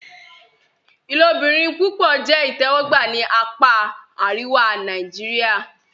Ilobirin-pupọ jẹ itẹwọgba ni apa ariwa Nàìjíríà.